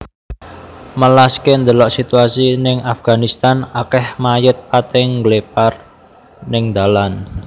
Melaske ndelok situasi ning Afganistan akeh mayit pating ngglepar ning ndalan